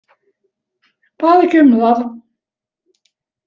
Bað ekki um það.